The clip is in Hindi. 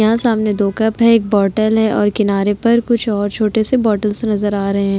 यहाँ सामने दो कप हैं एक बोटल है और किनारे पर कुछ और छोटे से बोटल्स नजर आ रहे --